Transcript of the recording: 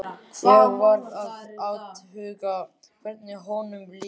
Ég varð að athuga hvernig honum liði.